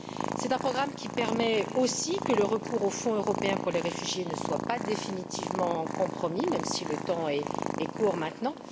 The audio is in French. C'est un programme qui permet aussi que le recours au Fonds européen pour les réfugiés ne soit pas définitivement compromis, même si le temps est court maintenant.